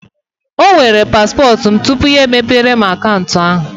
O were paspọtụ m tupu ya emepe akaụntụ ahụ.